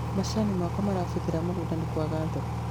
macanĩ makwa marabũthĩra mũgũnda nĩ kwaga thoko